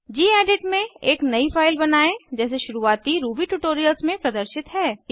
gedit में एक नयी फाइल बनायें जैसे शुरुवाती रूबी ट्यूटोरियल्स में प्रदर्शित है